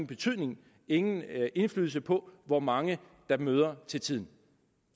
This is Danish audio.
betydning ingen indflydelse på hvor mange der møder til tiden